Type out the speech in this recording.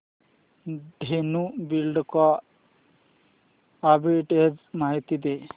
Dhenu Buildcon arbitrage माहिती दे